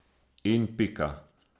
In pika!